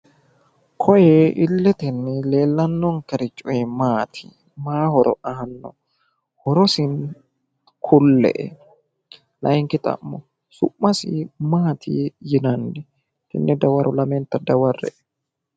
Koye illete leellannonkerichi maati? maayi horo aanno? horosi kulle'e. laayiinki xa'mo su'masi maati yinanni? lamenta dawarre'e.